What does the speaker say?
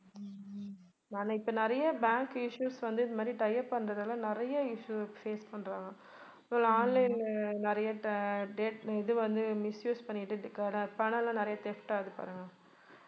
நான் இப்ப நிறைய bank issues வந்து இது மாதிரி tie up பண்றதால நிறைய issues face பண்றாங்க. online ல நிறைய இது வந்து misuse பண்ணிட்டு பணமெல்லாம் நிறைய theft ஆகுது பாருங்க